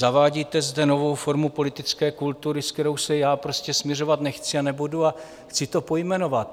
Zavádíte zde novou formu politické kultury, se kterou se já prostě smiřovat nechci a nebudu, a chci to pojmenovat.